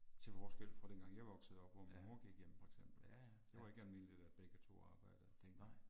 Til forskel fra den gang jeg voksede op hvor min mor gik hjemme for eksempel. Det var ikke almindeligt at begge 2 arbejdede. Dengang